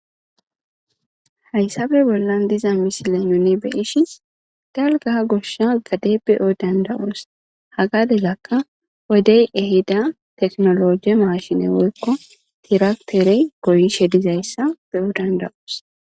Haysape bollan misile nuni.beyishin dalga goshagade beyo danda'os ha gadezaka wodey ehida mashiney woyko tirakiterey goyizaysa bewo danda'os.